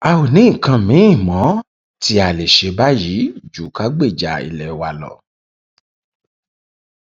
a ò ní nǹkan miín mọ tí a lè ṣe báyìí ju ká gbèjà ilé wa lọ